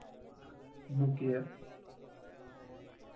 મુકીયે.